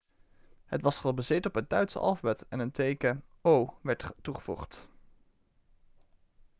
het was gebaseerd op het duitse alfabet en één teken 'õ/õ' werd toegevoegd